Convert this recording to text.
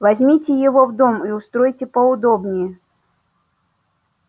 возьмите его в дом и устройте поудобнее